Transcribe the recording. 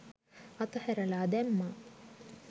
අතහැරලා දැම්මා